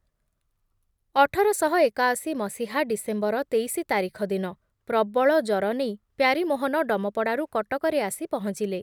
ଅଠର ଶହ ଏକାଅଶି ମସିହା ଡିସେମ୍ବର ତେଇଶି ତାରିଖ ଦିନ ପ୍ରବଳ ଜର ନେଇ ପ୍ୟାରୀମୋହନ ଡମପଡ଼ାରୁ କଟକରେ ଆସି ପହଞ୍ଚିଲେ ।